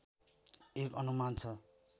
एक अनुमान छ